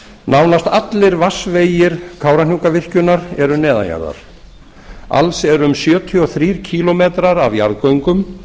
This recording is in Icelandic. nánast allir vatnsvegir kárahnjúkavirkjunar eru neðan jarðar alls eru um sjötíu og þrír kílómetrar af jarðgöngum